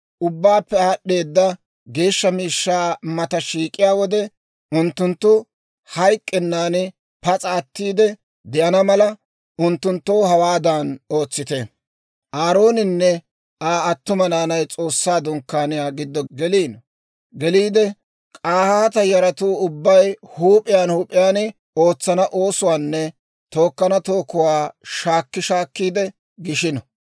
Ubbaappe aad'd'eedda geeshsha miishshaa mata shiik'iyaa wode, unttunttu hayk'k'ennan pas'a attiide de'ana mala, unttunttoo hawaadan ootsite: Aarooninne Aa attuma naanay S'oossaa Dunkkaaniyaa giddo geliide K'ahaata yaratuu ubbay huup'iyaan huup'iyaan ootsana oosuwaanne tookkana tookuwaa shaakki shaakkiide gishino.